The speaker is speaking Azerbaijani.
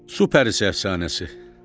Superəfsanəsi.